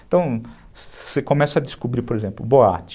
Então, você começa a descobrir, por exemplo, boate.